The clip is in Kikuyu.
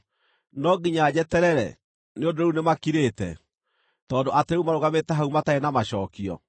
no nginya njeterere, nĩ ũndũ rĩu nĩmakirĩte, tondũ atĩ rĩu marũgamĩte hau matarĩ na macookio?